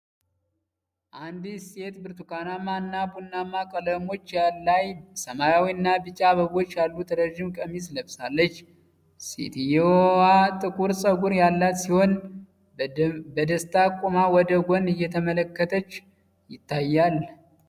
አንዲት ሴት በብርቱካናማ እና ቡናማ ቀለሞች ላይ ሰማያዊ እና ቢጫ አበቦች ያሉት ረዥም ቀሚስ ለብሳለች። ሴትየዋ ጥቁር ፀጉር ያላት ሲሆን፣ በደስታ ቆማ ወደ ጎን እየተመለከተች ይታያል።